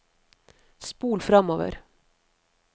spol framover